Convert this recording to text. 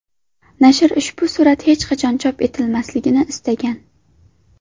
Nashr ushbu surat hech qachon chop etilmasligini istagan.